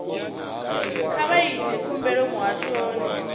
kha vha ite khumbelo muhashoni